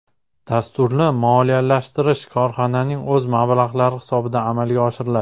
Dasturni moliyalashtirish korxonaning o‘z mablag‘lari hisobidan amalga oshiriladi.